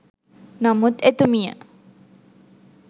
නමුත් එතුමිය